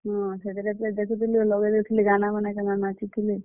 ହଁ, ହେତିର୍ ଲାଗି ତ ଦେଖୁଥିଲି ଆଉ ଲଗେଇ ଦଉଥିଲି ଗାନାମାନେ, କେନ୍ତା ନାଚିଥିଲେ।